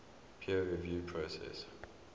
peer review process